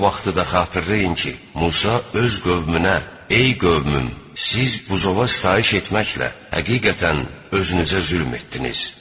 O vaxtı da xatırlayın ki, Musa öz qövmünə: "Ey qövmüm, siz buzova sitayiş etməklə həqiqətən özünüzə zülm etdiniz.